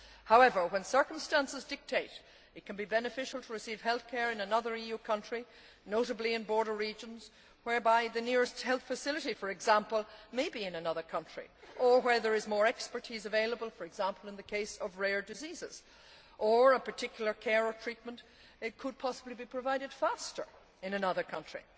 However, when circumstances dictate, it can be beneficial to receive health care in another EU country notably in border regions, whereby the nearest health facility, for example, may be in another country, or where there is more expertise available, for example in the case of rare diseases, or a particular care or treatment could possibly be provided faster in another country.